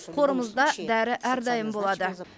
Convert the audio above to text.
қорымызда дәрі әрдайым болады